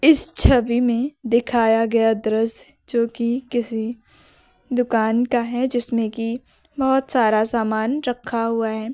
इस छवि में दिखाया गया दृश्य जो कि किसी दुकान का है जिसमें कि बहोत सारा सामान रखा हुआ हैं।